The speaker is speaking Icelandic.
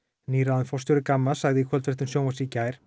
nýráðinn forstjóri Gamma sagði í kvöldfréttum sjónvarps í gær